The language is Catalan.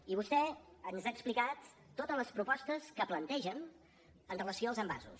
i vostè ens ha explicat totes les propostes que plantegen amb relació als envasos